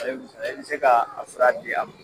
I bɛ se ka a fura di a ma